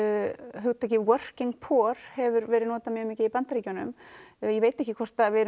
hugtakið working poor hefur verið notað mikið í Bandaríkjunum ég veit ekki hvort við